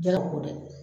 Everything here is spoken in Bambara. Jago dɛ